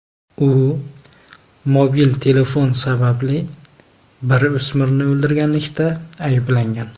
U mobil telefon sababli bir o‘smirni o‘ldirganlikda ayblangan.